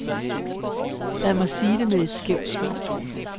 Lad mig sige det med et skævt smil.